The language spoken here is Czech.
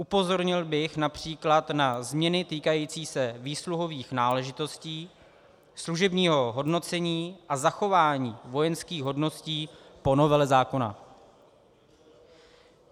Upozornil bych například na změny týkající se výsluhových náležitostí, služebního hodnocení a zachování vojenských hodností po novele zákona.